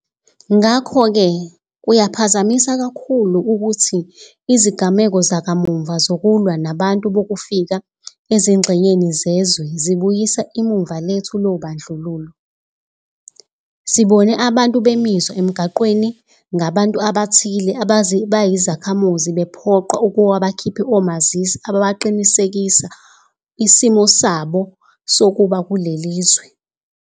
Ngakho-ke kuyaphazamisa kakhulu ukuthi izigameko zakamuva zokulwa nabantu bokufika ezingxenyeni zezwe zibuyisa imuva lethu lobandlululo. Sibone abantu bemiswa emigwaqeni ngabantu abathile abayizakhamuzi bephoqwa ukuba bakhiphe omazisi abaqinisekisa isimo sabo sokuba kuleli lizwe.